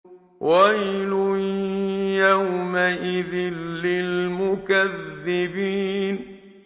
وَيْلٌ يَوْمَئِذٍ لِّلْمُكَذِّبِينَ